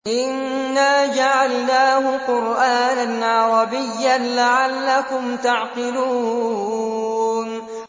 إِنَّا جَعَلْنَاهُ قُرْآنًا عَرَبِيًّا لَّعَلَّكُمْ تَعْقِلُونَ